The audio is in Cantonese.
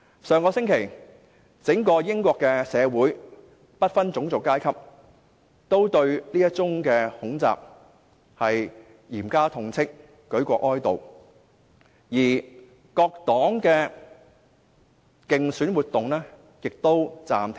上星期，整個英國社會，不分種族階級均對這宗恐襲嚴加痛斥，舉國哀悼，各黨的競選活動也告暫停。